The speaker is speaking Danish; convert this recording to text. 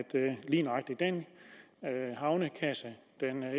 lige nøjagtig den havnekasse